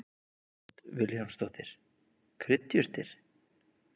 Hödd Vilhjálmsdóttir: Kryddjurtir?